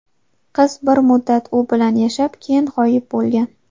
Qiz bir muddat u bilan yashab, keyin g‘oyib bo‘lgan.